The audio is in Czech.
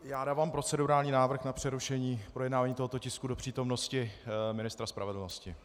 Já dávám procedurální návrh na přerušení projednávání tohoto tisku do přítomnosti ministra spravedlnosti.